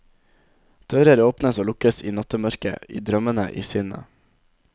Dører åpnes og lukkes i nattemørke, i drømmene i sinnet.